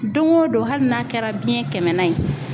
Don o don hali n'a kɛra biyɛn kɛmɛnan ye.